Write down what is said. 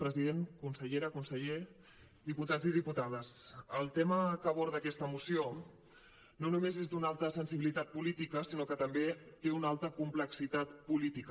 president consellera conseller diputats i diputades el tema que aborda aquesta moció no només és d’una alta sensibilitat política sinó que també té una alta complexitat política